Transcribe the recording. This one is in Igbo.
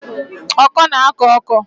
Ọkọ na-akọ ọkọ